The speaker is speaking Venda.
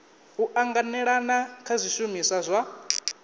u anganelana kha zwishumiswa zwa